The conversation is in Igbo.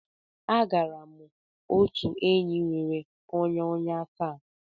Agara m otu enyi bnwere ọnya ọnya taa.